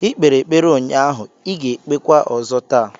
Ị kpere ekpere ụnyaahụ, I ga-ekpekwa ọzọ taa!